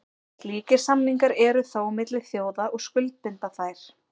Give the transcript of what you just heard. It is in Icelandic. Slíkir samningar eru þó milli þjóða og skuldbinda þær.